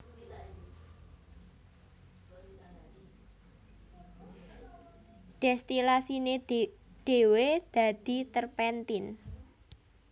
Dèstilasiné dhéwé dadi terpentin